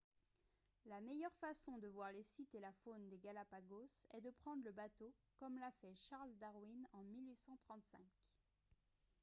la meilleure façon de voir les sites et la faune des galápagos est de prendre le bateau comme l’a fait charles darwin en 1835